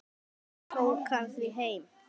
Ég tók hann því heim.